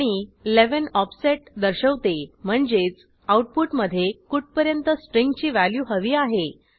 आणि 11 ऑफसेट दर्शवते म्हणजेच आऊटपुटमधे कुठपर्यंत स्ट्रिंगची व्हॅल्यू हवी आहे